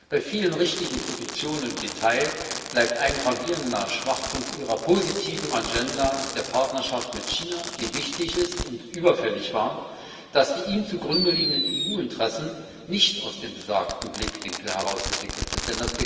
Bei vielen richtigen Positionen im Detail bleibt ein gravierender Schwachpunkt Ihrer positiven Agenda der Partnerschaft mit China, die wichtig ist und überfällig war, dass die ihr zugrunde liegenden EU Interessen nicht aus dem besagten Blickwinkel heraus entwickelt sind.